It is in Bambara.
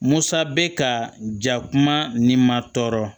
Musa bɛ ka ja kuma ni ma tɔɔrɔ